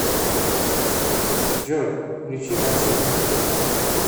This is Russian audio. джой включи максим